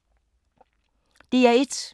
DR1